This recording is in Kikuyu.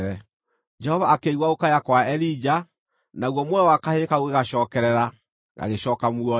Jehova akĩigua gũkaya kwa Elija, naguo muoyo wa kahĩĩ kau ũgĩgacookerera, gagĩcooka muoyo.